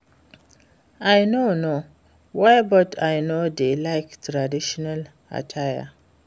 I no know why but I no dey like traditional attire